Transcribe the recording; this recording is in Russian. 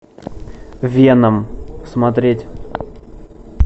веном смотреть